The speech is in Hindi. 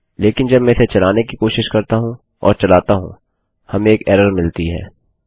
लेकिन जब मैं इसे चलाने कि कोशिश करता हूँ और चलाता हूँ हमें एक एरर मिलती है